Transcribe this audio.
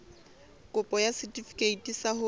kopo ya setefikeiti sa ho